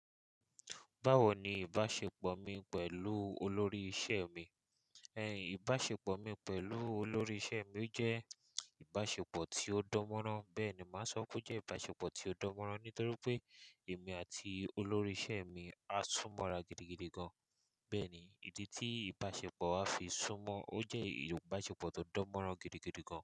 Báwo ni ìbáṣepọ̀ mi pẹ̀lú olórí iṣẹ́ mi? Ẹ̀yin, ìbáṣepọ̀ mi pẹ̀lú olórí iṣẹ́ mi jẹ́ ìbáṣepọ̀ tí ó dán mọ́rán. Bẹ́ẹ̀ ni, màá sọ pé ó jẹ́ ìbáṣepọ̀ tí ó dán mọ́rán nítorí pé èmi àti olórí iṣẹ́ mi á súnmọ́ra gidigidi gan. Bẹ́ẹ̀ ni, ìdí tí ìbáṣepọ̀ á fi sún mọ́, ó jẹ́ ìbáṣepọ̀ tó dán mọ́rán gidigidi gan.